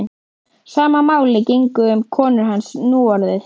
Sama máli gegndi um konu hans núorðið.